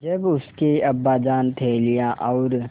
जब उसके अब्बाजान थैलियाँ और